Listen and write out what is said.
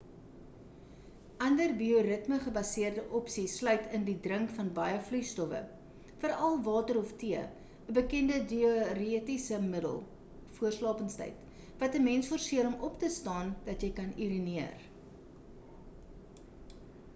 ander bioritme-gebaseerde opsies sluit in die drink van baie vloeistowwe veral water of tee ‘n bekende diuretiese middel voor slapenstyd wat ‘n mens forseer om op te staan dat jy kan urineer